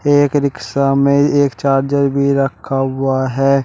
एक रिक्शा में एक चार्जर भी रखा हुआ है।